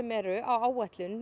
eru á áætlun